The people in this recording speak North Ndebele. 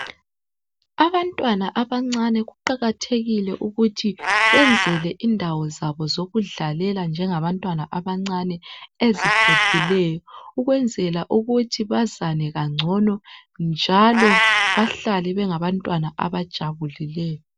Abantwana abancane kuqakathekile ukuthi benzelwe indawo zabo zokudlalela njengabantwana bancane eziphephileyo ukwenzela ukuthi bazane kancono njalo bahlale bengabantwana abajabuileyo.